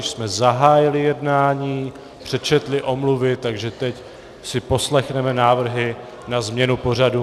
Již jsme zahájili jednání, přečetli omluvy, takže teď si poslechneme návrhy na změnu pořadu.